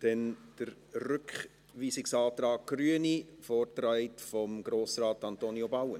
Dann kommen wir zum Rückweisungsantrag der Grünen, vorgetragen von Grossrat Antonio Bauen.